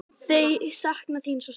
Þau sakna þín svo sárt.